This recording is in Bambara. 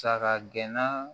Saga gɛnna